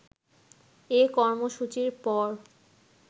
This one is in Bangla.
এ কর্মসূচির পর